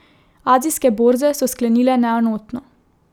Azijske borze so sklenile neenotno.